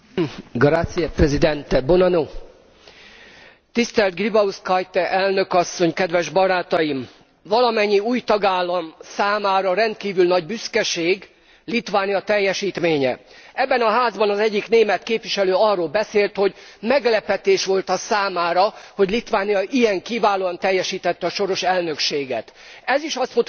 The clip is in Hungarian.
Tisztelt Gribauskaite Elnök Asszony! Kedves Barátaim! Valamennyi új tagállam számára rendkívül nagy büszkeség Litvánia teljesítménye. Ebben a Házban az egyik német képviselő arról beszélt, hogy meglepetés volt a számára, hogy Litvánia ilyen kiválóan teljesítette a soros elnökséget. Ez is azt mutatja, hogy nem ismerjük egymást és tele vagyunk előítéletekkel.